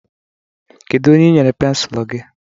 Kedu onye i nyere pensụl gị?